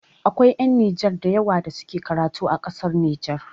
Akwai ƴan Najeriya da yawa da suke karatu a ƙasar Nijar